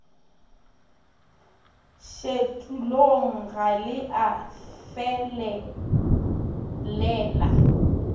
šetulong ga le a felelela